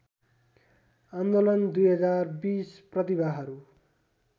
आन्दोलन २०२० प्रतिभाहरू